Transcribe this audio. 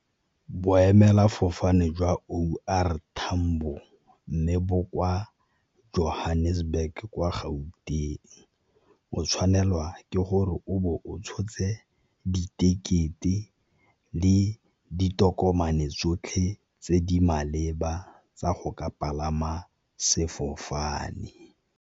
Boemela fofane jwa O R Tambo mme bo kwa Johannesburg kwa Gauteng o tshwanelwa ke gore o bo o tshotse ditekete le ditokomane tsotlhe tse di maleba tsa go ka palama sefofane.